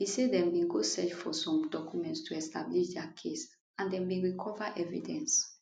e say dem bin go search for some documents to establish dia case and dem bin recover evidence